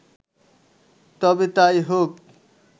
তবে তাই হোক